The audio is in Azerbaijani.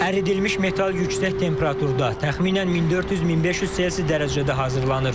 Əridilmiş metal yüksək temperaturda, təxminən 1400-1500 selsi dərəcədə hazırlanır.